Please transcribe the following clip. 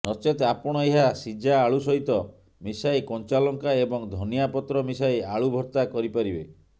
ନଚେତ ଆପଣ ଏହା ସିଝା ଆଳୁ ସହିତ ମିଶାଇ କଞ୍ଚାଲଙ୍କା ଏବଂ ଧନିଆପତ୍ର ମିଶାଇ ଆଳୁ ଭର୍ତ୍ତା କରିପାରିବେ